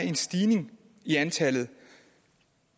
en stigning i antallet